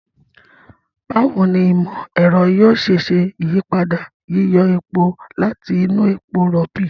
Báwo ni ìmọ̀-ẹ̀rọ yóò ṣe ṣe ìyípadà yíyọ epo láti inú epo rọ̀ọ̀bì?